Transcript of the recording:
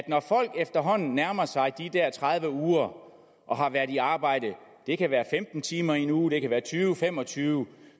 når folk efterhånden nærmer sig de der tredive uger og har været i arbejde det kan være femten timer i en uge det kan være tyve fem og tyve